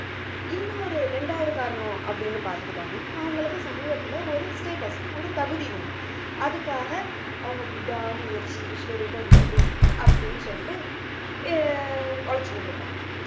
ஒரு இரண்டாவது காரணம் அப்படின்னு பார்த்துக்கிட்டோம்ன்னா அவங்களுக்கு சமூகத்துல ஒரு status ஒரு தகுதி வேணும் அதுக்காக அவங்க விடா முயற்சி விஸ்வரூப வெற்றி அப்படின்னு சொல்லிட்டு உழைச்சுக்கிட்டு இருப்பாங்க